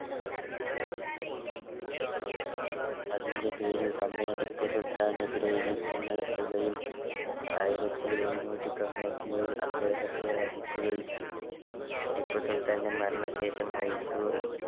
അതിൻറെ പേരിൽ Company ടിപ്പു സുൽത്താനെതിരെ യുദ്ധം നടത്തുകയും ആയിരത്തി ഏയ്ന്നൂറ്റി തൊണ്ണൂറ്റിയേയിൽ അദ്ദേഹത്തെ വധിക്കുകയും ചെയ്തു ടിപ്പു സുൽത്താൻറെ മരണ ശേഷം മൈസൂർ